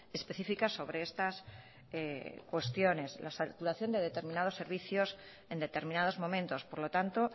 específicas sobre estas cuestiones la saturación de determinados servicios en determinados momentos por lo tanto